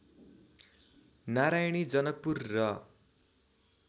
नारायणी जनकपुर र